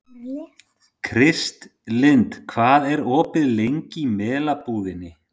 Kristlind, hvað er opið lengi í Melabúðinni?